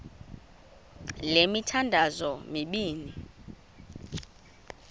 le mithandazo mibini